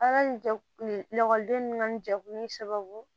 A ka nin jɛkulu la ekɔliden ninnu ka nin jɛkulu in sababu